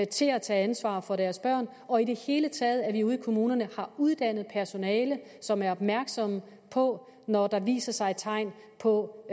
til at tage ansvar for deres børn og i det hele taget ved at vi ude i kommunerne har uddannet personale som er opmærksomme på når der viser sig tegn på